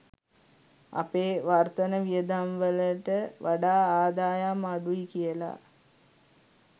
අපේ වර්තන වියදම්වලට වඩා ආදායම් අඩුයි කියලා.